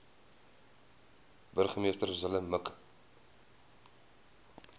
burgemeester zille mik